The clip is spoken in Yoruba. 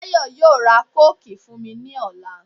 Táyọ̀ yóò ra kóòkì fún mi ní ọ̀la.